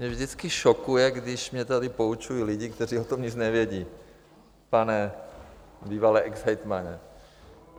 Mě vždycky šokuje, když mě tady poučují lidi, kteří o tom nic nevědí, pane bývalý exhejtmane.